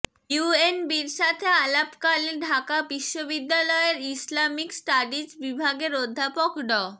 ইউএনবির সাথে আলাপকালে ঢাকা বিশ্ববিদ্যালয়ের ইসলামিক স্টাডিজ বিভাগের অধ্যাপক ড